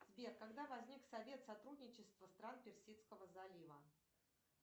сбер когда возник совет сотрудничества стран персидского залива